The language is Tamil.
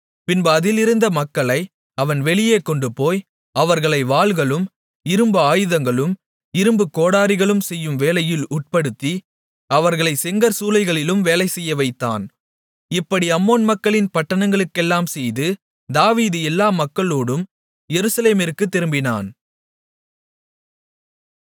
பின்பு அதிலிருந்த மக்களை அவன் வெளியே கொண்டுபோய் அவர்களை வாள்களும் இரும்பு ஆயதங்களும் இரும்புக் கோடரிகளும் செய்யும் வேளையில் உட்படுத்தி அவர்களைச் செங்கற்சூளைகளிலும் வேலைசெய்யவைத்தான் இப்படி அம்மோன் மக்களின் பட்டணங்களுக்கெல்லாம் செய்து தாவீது எல்லா மக்களோடும் எருசலேமிற்குத் திரும்பினான்